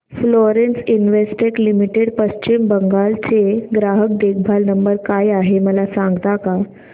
Florence Investec limited Paschim Bengal चा ग्राहक देखभाल नंबर काय आहे मला सांगता का